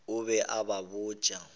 o be a ba botša